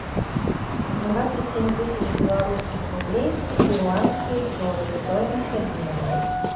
двадцать семь тысяч белорусских рублей в перуанские соли стоимость обмена